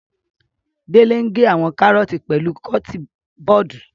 Dele ń ge àwọn kàrọọti pẹlu kọtin bọọdu.